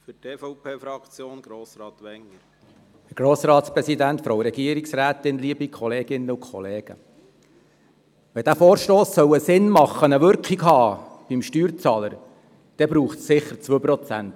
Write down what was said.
Wenn dieser Vorstoss beim Steuerzahler eine tatsächliche Wirkung entfalten soll, braucht es bestimmt 2 und nicht nur 1 Prozent.